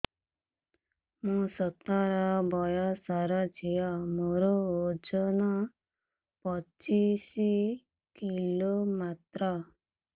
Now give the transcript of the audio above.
ମୁଁ ସତର ବୟସର ଝିଅ ମୋର ଓଜନ ପଚିଶି କିଲୋ ମାତ୍ର